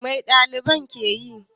Mai ɗaliban ke yi?